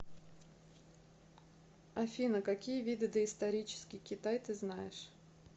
афина какие виды доисторический китай ты знаешь